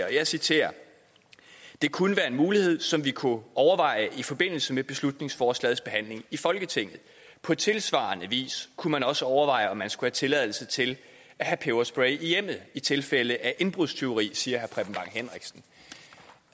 og jeg citerer det kunne være en mulighed som vi kunne overveje i forbindelse med beslutningsforslagets behandling i folketinget på tilsvarende vis kunne man også overveje om man skulle have tilladelse til at have peberspray i hjemmet i tilfælde af indbrudstyveri det siger